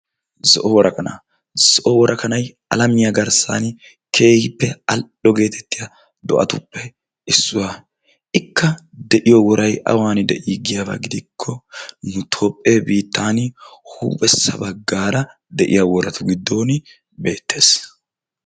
zo'o worakanaa. zo'o worakanaay alamiyaa garssaan keehippe al"o gettettiyaa do"atuppe issuwaaa. ikka de'iyoo woray awan de"i giyaaba gidikko nu toophe garssan huuphessa baggaara de'iyaa woratun beettees.